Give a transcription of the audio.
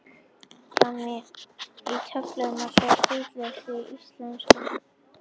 Á eftirfarandi töflu má sjá hvítuneyslu Íslendinga í samanburði við nokkur útlönd.